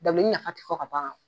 Dabileni nafa ti fɔ ka ban